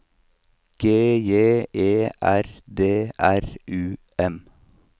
G J E R D R U M